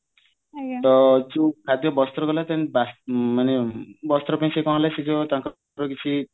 ତା ଯୋଉ ଖାଦ୍ଯ ବସ୍ତ୍ର ଦେଲା then ମାନେ ବସ୍ତ୍ର ପାଇଁ କଣ ହେଲା ସେ ଯୋଉ ତାଙ୍କର କିଛି